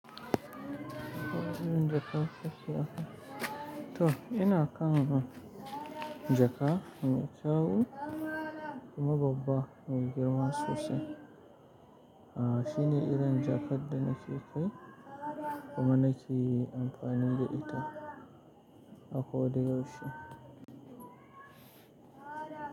To ina kan jaka mai tsawo kuma babba mai girma sosai. Aa shine irin jakar da nake kai kuma nake amfani da ita a koyaushe.